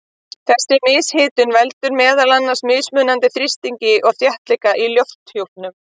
En þessi mishitun veldur meðal annars mismunandi þrýstingi og þéttleika í lofthjúpnum.